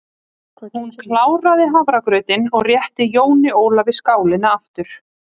Hún kláraði hafragrautinn og rétti Jóni Ólafi skálina aftur.